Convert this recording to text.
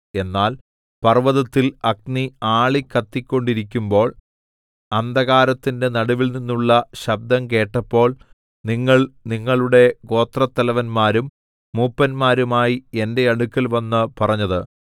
എന്നാൽ പർവ്വതത്തിൽ അഗ്നി ആളിക്കത്തിക്കൊണ്ടിരിക്കുമ്പോൾ അന്ധകാരത്തിന്റെ നടുവിൽനിന്നുള്ള ശബ്ദം കേട്ടപ്പോൾ നിങ്ങൾ നിങ്ങളുടെ ഗോത്രത്തലവന്മാരും മൂപ്പന്മാരുമായി എന്റെ അടുക്കൽവന്ന് പറഞ്ഞത്